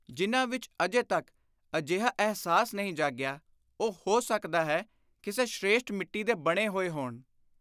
ਜਿਨ੍ਹਾਂ ਵਿਚ ਅਜੇ ਤਕ ਅਜਿਹਾ ਅਹਿਸਾਸ ਨਹੀਂ ਜਾਗਿਆ, ਉਹ, ਹੋ ਸਕਦਾ ਹੈ, ਕਿਸੇ 'ਸ੍ਰੇਸ਼ਟ' ਮਿੱਟੀ ਦੇ ਬਣੇ ਹੋਏ ਹੋਣ ।